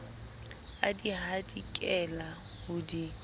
a di hadikela ho di